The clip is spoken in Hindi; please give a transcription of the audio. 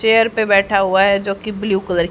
चेयर पे बैठा हुआ है जो कि ब्लू कलर --